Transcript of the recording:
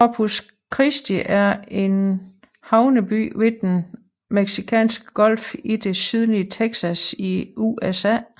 Corpus Christi er en havneby ved Den Mexicanske Golf i det sydlige Texas i USA